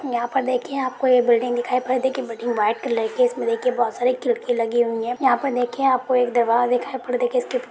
यहा पर देखिये आपको ये बिल्डिग दिखाई दे पड़ रही ये बिल्डिग वाइट कलर की है इसमें देखिये बहुत सारी खिड़की लगी हुई है यहा पर देखिये अपको एक दिवार दिखाई पड़ र--